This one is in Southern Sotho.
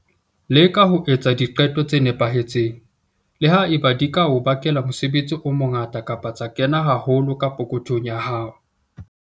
Leka ho etsa diqeto tse nepahetseng, le ha eba di ka o bakela mosebetsi o mongata kapa tsa kena haholo ka pokothong ya hao.